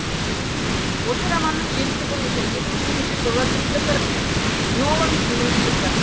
осы романның желісі бойынша екі мың жетінші жылы кристофер нолан фильм түсірді